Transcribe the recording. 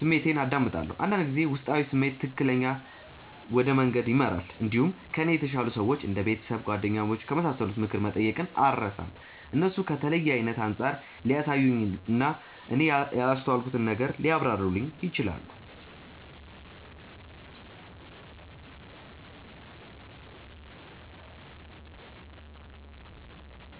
ስሜቴን አዳምጣለሁ። አንዳንድ ጊዜ ውስጣዊ ስሜት ትክክለኛ ወደ መንገድ ይመራል። እንዲሁም ከእኔ የተሻሉ ሰዎች እንደ ቤተሰብ፣ ጓደኞች ከመሳሰሉት ምክር መጠየቅን አልርሳም። እነሱ ከተለየ አይነት አንጻር ሊያሳዩኝ እና እኔ ያላስተዋልኩትን ነገር ሊያብራሩልኝ ይችላሉ።